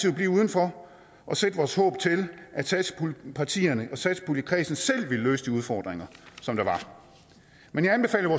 at blive udenfor og sætte vores håb til at satspuljepartierne og satspuljekredsen selv vil løse de udfordringer som der var men jeg anbefalede